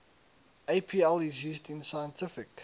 apl is used in scientific